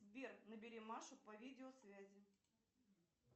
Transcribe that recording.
сбер набери машу по видеосвязи